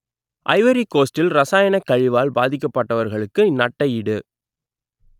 Ivory கோஸ்டில் ரசாயனக் கழிவால் பாதிக்கப்பட்டவர்களுக்கு நட்ட ஈடு